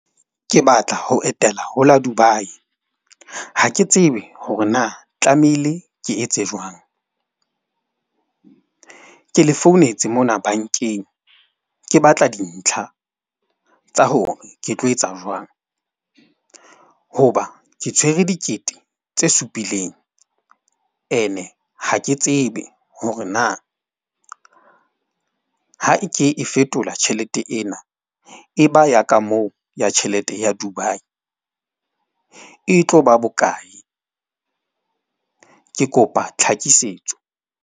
Ke batla ho etela ho la Dubai. Ha ke tsebe hore na tlamehile, ke etse jwang. Ke le founetse mona bank-eng. Ke batla dintlha tsa hore ke tlo etsa jwang, hoba ke tshwere dikete tse supileng. Ene ha ke tsebe hore na ha e ke e fetola tjhelete ena, e ba ya ka moo ya tjhelete ya Dubai e tloba bokae. Ke kopa tlhakisetso.